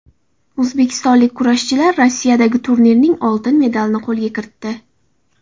O‘zbekistonlik kurashchilar Rossiyadagi turnirning olti medalini qo‘lga kiritdi.